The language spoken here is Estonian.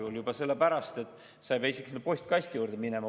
Kas või juba sellepärast, et sa ei pea isegi postkasti juurde minema.